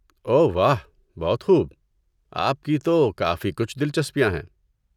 اوہ واہ، بہت خوب، آپ کی تو کافی کچھ دلچسپیاں ہیں۔